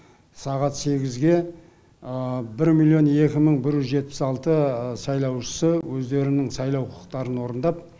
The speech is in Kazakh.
сағат сегізге бір миллион екі мың бір жүз жетпіс алты сайлаушысы өздерінің сайлау құқықтарын орындап